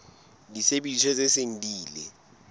disebediswa tse seng di ile